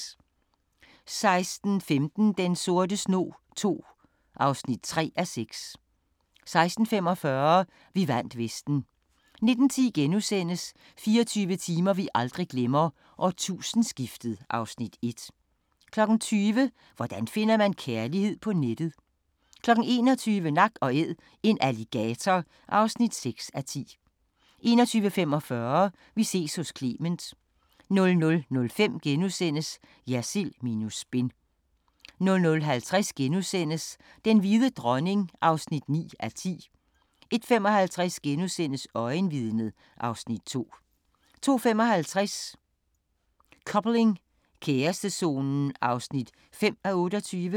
16:15: Den sorte snog II (3:6) 16:45: Vi vandt vesten 19:10: 24 timer vi aldrig glemmer: Årtusindeskiftet (Afs. 1)* 20:00: Hvordan finder man kærligheden på nettet? 21:00: Nak & Æd – en alligator (6:10) 21:45: Vi ses hos Clement 00:05: Jersild minus spin * 00:50: Den hvide dronning (9:10)* 01:55: Øjenvidnet (Afs. 2)* 02:55: Coupling – kærestezonen (5:28)